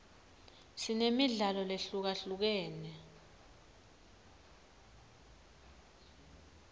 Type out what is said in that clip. sinemidlalo lehlukahlukene